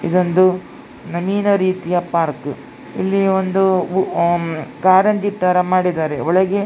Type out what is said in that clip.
ಇದೊಂದು ಮಣ್ಣಿನ ರೀತಿಯ ಪಾರ್ಕ್ ಇಲ್ಲಿ ಒಂದು ಕಾರಂಜಿಯ ತರ ಮಾಡಿದ್ದಾರೆ ಒಳಗೆ --